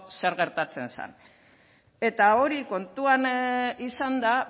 zer gertatzen zan eta hori kontuan izanda